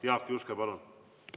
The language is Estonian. Jaak Juske, palun!